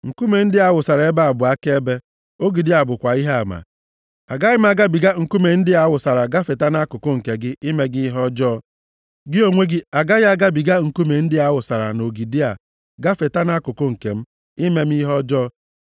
Nkume ndị a a wụsara bụ akaebe, ogidi a bụkwa ihe ama. Agaghị m agabiga nkume ndị a a wụsara gafeeta nʼakụkụ nke gị ime gị ihe ọjọọ. Gị onwe gị agaghị agabiga nkume ndị a a wụsara na ogidi a gafeeta nʼakụkụ nke m ime m ihe ọjọọ.